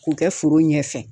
K'u kɛ foro ɲɛfɛ